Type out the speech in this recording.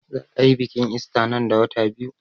Za a yi biƙin ista nan da wata biyu